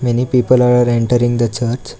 Many people are entering the church.